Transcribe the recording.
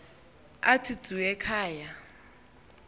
athi dzu ekhaya